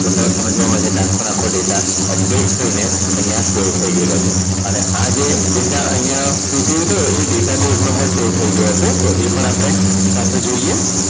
તો તરત તમને જોવા મળશે કે આખો ને આખો data Update થઈ ને અહીંયા save થઈ ગેલો છે. અને આ જે data એ Data Base નંબર save થઈ ગયો છે તો એ પણ આપણે સાથે જોઈએ